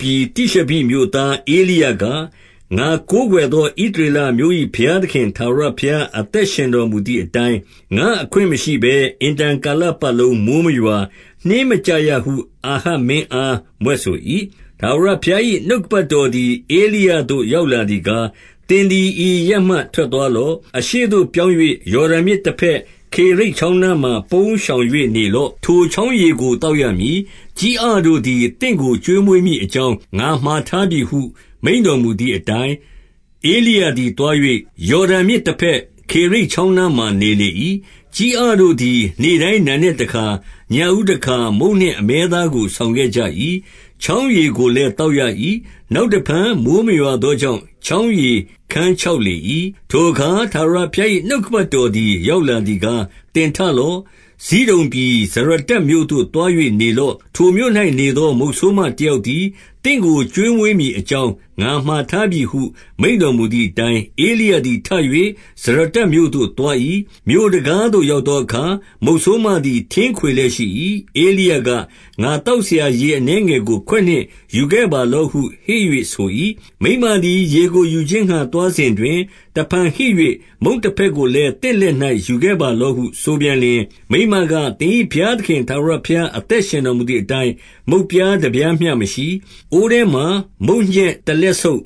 ပြည် တိရှဘိမြို့သားဧလိယက၊ ငါကိုးကွယ်သော ဣသရေလအမျိုး၏ ဘုရားသခင်ထာဝရ ဘုရား အသက်ရှင်တော်မူသည်အတိုင်း၊ ငါ့အခွင့်မရှိဘဲ အင်တန်ကာလပတ်လုံးမိုဃ်းမရွာ၊ နှင်းမကျရဟု အာဟပ် မင်းအားမြွက်ဆို၏။ 2 ထာဝရဘုရား၏ နှုတ်ကပတ်တော်သည် ဧလိယသို့ ရောက်လာသည်ကား၊ 3 သင်သည် ဤအရပ်မှ ထွက်သွားလော့။ အရှေ့သို့ပြောင်း၍ ယော်ဒန်မြစ်တဘက်၊ ခေရိတ်ချောင်းနားမှာ ပုန်းရှောင်၍နေလော့။ 4 ထိုချောင်းရေကို သောက်ရမည်။ ကျီးအတို့သည် သင့်ကို ကျွေးမွေးမည်အကြောင်း ငါမှာထားပြီဟု မိန့် တော်မူသည်အတိုင်း၊ 5 ဧလိယသည်သွား၍ ယော်ဒန်မြစ်တဘက်၊ ခေရိတ်ချောင်းနားမှာ နေလေ၏။ 6 ကျီးအတို့သည် နေ့တိုင်းနံနက်တခါ၊ ညဦးတခါ မုန့်နှင့်အမဲသားကို ဆောင်ခဲ့ကြ၏။ ချောင်းရေကိုလည်း သောက်ရ၏။ 7 နောက်တဖန် မိုဃ်းမရွာသောကြောင့် ချောင်းရေခန်းခြောက်လေ၏။ 8 ထိုအခါ ထာဝရဘုရား၏ နှုတ်ကပတ်တော် သည် ရောက်လာသည်ကား၊ 9 သင်ထလော့။ ဇိဒုန်ပြည်၊ ဇရတ္တမြို့သို့ သွား၍ နေလော့။ ထိုမြို့၌ နေသောမုတ်ဆိုးမတယောက်သည် သင့်ကို ကျွေးမွေးမည်အကြောင်း ငါမှာထားပြီဟု မိန့်တော်မူသည်အတိုင်း၊ 10 ဧလိယသည်ထ၍ ဇရတ္တမြို့သို့သွား၏။ မြို့တံခါး သို့ရောက်သောအခါ၊ မုတ်ဆိုးမသည် ထင်းခွေလျက်ရှိ၏။ ဧလိယက၊ ငါသောက်စရာ ရေအနည်းငယ်ကို ခွက်နှင့် ယူခဲ့ပါလော့ဟု ဟစ်၍ဆို၏။ 11 မိန်းမသည်ရေကိုယူခြင်းငှါ သွားစဉ်တွင်၊ တဖန်ဟစ်၍ မုန့်တဖဲ့ကိုလည်း သင့်လက်၌ ယူခဲ့ပါလော့ဟု ဆိုပြန်လျှင်၊ 12 မိန်းမက၊ သင်၏ဘုရားသခင် ထာဝရဘုရား အသက်ရှင်တော်မူသည်အတိုင်း၊ မုန့်ပြားတပြားမျှမရှိ။ အိုးထဲမှာ မုန့်ညက်တလက်ဆုပ်၊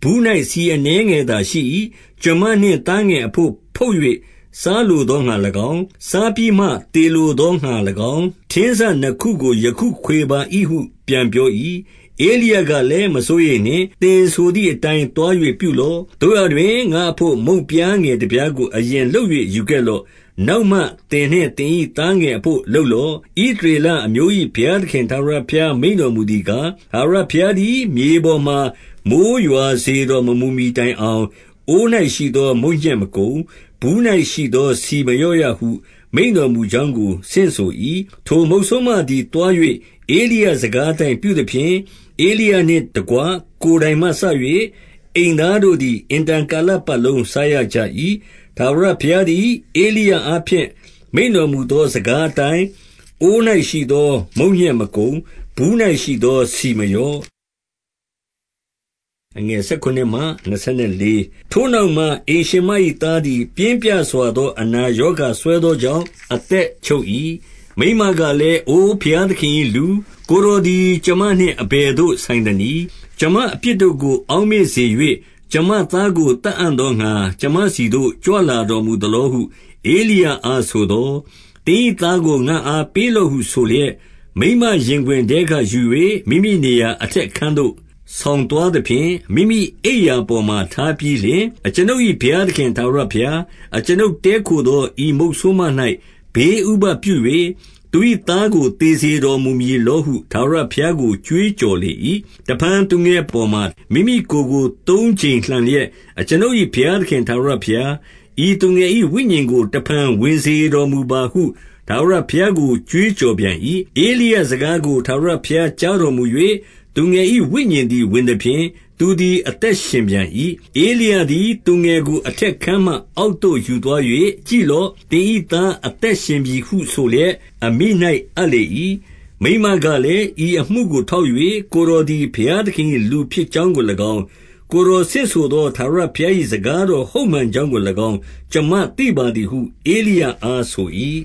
ဘူး၌ ဆီအနည်းငယ်သာရှိ၏။ ကျွန်မနှင့်သားငယ်အဘို့ဖုတ်၍ စားလိုသော ငှါ၎င်း၊ စားပြီးမှ သေလိုသောငှါ၎င်း၊ ထင်းစနှစ်ခုကို ယခုခွေပါ၏ဟု ပြန်ပြော၏။ 13 ဧလိယကလည်းမစိုးရိမ်နှင့်။ သင်ဆိုသည်အတိုင်းသွား၍ ပြုလော့။ သို့ရာတွင် ငါ့အဘို့ မုန့်ပြားငယ် တပြားကို အရင်လုပ်၍ ယူခဲ့လော့။ နောက်မှ သင်နှင့် သင်၏သားငယ်အဘို့လုပ်လော့။ 14 ဣသရေလအမျိုး၏ ဘုရားသခင်ထာဝရဘုရားမိန့်တော်မူသည်ကား၊ ထာဝရဘုရားသည် မြေပေါ်မှာ မိုဃ်းရွာစေတော်မမူမှီတိုင်အောင်၊ အိုး၌ရှိသောမုန့်ညက်မကုန်။ ဘူး၌ရှိသော ဆီမလျော့ရဟု မိန့်တော်မူကြောင်း ကို ဆင့်ဆို၏။ 15 ထိုမုတ်ဆိုးမသည်သွား၍ ဧလိယစကားအတိုင်း ပြုသဖြင့်၊ ဧလိယနှင့်တကွ ကိုယ်တိုင်မှစ၍၊ အိမ်သားတို့ သည် အင်တန်ကာလပတ်လုံး စားရကြ၏။ 16 ထာဝရဘုရားသည် ဧလိယအားဖြင့် မိန့်တော် မူသောစကားအတိုင်း၊ အိုး၌ရှိသော မုန့်ညက်မကုန်၊ ဘူး၌ရှိသော ဆီမလျော့။ 17 ထိုနောက်မှ အိမ်ရှင်မ၏သားသည် ပြင်းပြစွာ သော အနာရောဂါစွဲသောကြောင့် အသက်ချုပ်၏။ 18 မိန်းမကလည်း၊ အို ဘုရားသခင်၏လူ၊ ကိုယ် တော်သည် ကျွန်မနှင့် အဘယ်သို့ဆိုင်သနည်း။ ကျွန်မ အပြစ်တို့ကို အောက်မေ့စေ၍၊ ကျွန်မသားကို သတ်အံ့ သောငှါ ကျွန်မဆီသို့ ကြွလာတော်မူသလောဟု ဧလိယ အားဆိုသော်၊ 19 သင်၏သားကိုငါ့အားပေးလော့ဟုဆိုလျက်၊ မိန်းမရင်ခွင်ထဲက ယူ၍မိမိနေရာအထက်အခန်းသို့ ဆောင် သွားသဖြင့်၊ မိမိအိပ်ရာပေါ်မှာ ထားပြီးလျှင်၊ 20 အကျွန်ုပ်၏ ဘုရားသခင် ထာဝရဘုရား၊ အကျွန်ုပ်တည်းခိုသော ဤမုတ်ဆိုးမ၌ ဘေးဥပဒ်ပြု၍၊ သူ၏သားကို သေစေတော်မူမည်လောဟု ထာဝရဘုရား ကို ကြွေးကြော်လေ၏။ 21 တဖန်သူငယ်အပေါ်မှာ မိမိကိုယ်ကို သုံးကြိမ် လှန်လျက်၊ အကျွန်ုပ်၏ဘုရားသခင် ထာဝရဘုရား၊ ဤသူငယ်၏ဝိညာဉ်ကို တဖန် ဝင်စေတော်မူပါဟု ထာဝရ ဘုရားကို ကြွေးကြော်ပြန်၏။ 22 ဧလိယ စကားကို ထာဝရဘုရားကြားတော်မူ၍၊ သူငယ်၏ ဝိညာဉ်သည်ဝင်သဖြင့်၊ သူသည် အသက် ရှင်ပြန်၏။ 23 ဧလိယသည် သူငယ်ကိုအထက်အခန်းမှ အောက် သို့ယူသွား၍ ကြည့်လော့။ သင်၏သားအသက်ရှင်ပြီဟု ဆိုလျက်အမိ၌အပ်လေ၏။ 24 မိန်းမကလည်း၊ ဤအမှုကိုထောက်၍ ကိုယ်တော်သည် ဘုရားသခင်၏ လူဖြစ်ကြောင်းကို၎င်း၊ ကိုယ်တော်ဆင့်ဆိုသော ထာဝရဘုရား၏ စကားတော် ဟုတ်မှန်ကြောင်းကို၎င်း၊ ကျွန်မသိပါသည်ဟု ဧလိယ အား ဆို၏။